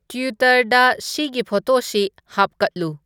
ꯇ꯭ꯋꯤꯇꯔꯗ ꯁꯤꯒꯤ ꯐꯣꯇꯣꯁꯤ ꯍꯥꯞꯀꯠꯂꯨ